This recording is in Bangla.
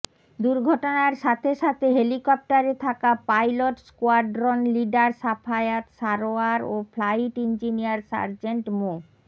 দুর্ঘটনার সাথে সাথে হেলিকপ্টারে থাকা pilot squadron leader Safayat Sarwar ও ফ্লাইট ইঞ্জিনিয়ার সার্জেন্ট মো